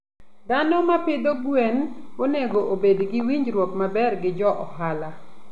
Dhano ma pidho gwen onego obed gi winjruok maber gi johala.